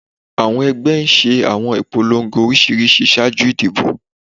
awọn ẹgbẹ́ ṣe awọn ipolongo oriṣiriṣi ṣaaju idibo